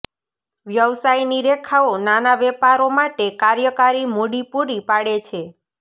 વ્યવસાયની રેખાઓ નાના વેપારો માટે કાર્યકારી મૂડી પૂરી પાડે છે